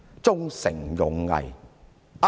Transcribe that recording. "忠誠勇毅"？